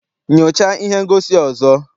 Nyochaa ihe ngosi a ọzọ!